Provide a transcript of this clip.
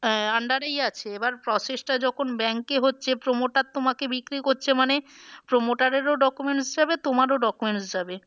আহ under এই আছে এবার process টা যখন bank এ হচ্ছে promoter তোমাকে বিক্রি করছে মানে promoter এর ও documents যাবে তোমারও documents যাবে।